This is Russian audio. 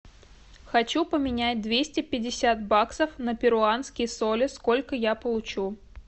хочу поменять двести пятьдесят баксов на перуанские соли сколько я получу